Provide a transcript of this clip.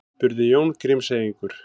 spurði Jón Grímseyingur.